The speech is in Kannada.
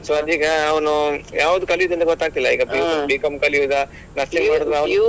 So ಅದೀಗ ಅವ್ನು ಯಾವುದು ಕಲಿಯುದಂತ ಗೊತ್ತಾಗ್ತಿಲ್ಲ ಈಗ B.Com B.Com ಕಲಿಯುದಾ .